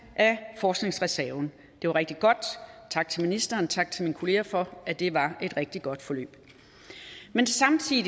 af forskningsreserven det var rigtig godt tak til ministeren tak til mine kollegaer for at det var et rigtig godt forløb men samtidig